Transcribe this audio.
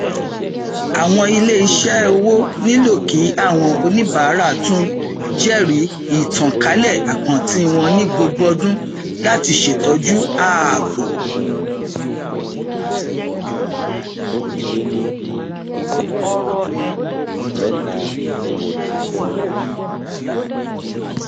àwọn iléiṣẹ owó nílò kí àwọn oníbàárà tún jẹrìí ìtànkálẹ àkántì wọn ní gbogbo ọdún láti ṣètọju ààbò